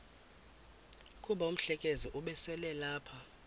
kuba umhlekazi ubeselelapha